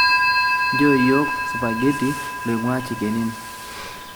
nchoo yiok supageti loing'ua chicken inn